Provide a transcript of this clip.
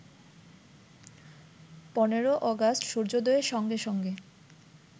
১৫ August সূর্যোদয়ের সঙ্গে সঙ্গে